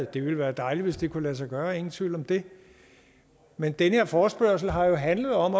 det ville være dejligt hvis det kunne lade sig gøre ingen tvivl om det men den her forspørgsel har handlet om